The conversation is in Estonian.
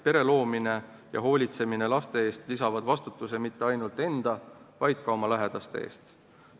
Pere loomine ja laste eest hoolitsemine lisavad vastutuse mitte ainult enda, vaid ka oma lähedaste eest.